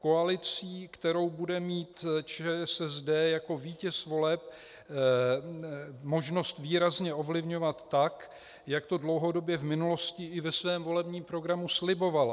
Koalicí, kterou bude mít ČSSD jako vítěz voleb možnost výrazně ovlivňovat tak, jak to dlouhodobě v minulosti i ve svém volebním programu slibovala.